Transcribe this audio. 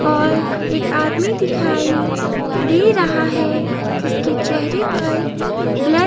और एक आदमी दिखाई दे रहा है जिसके चेहरे पर ब्ल--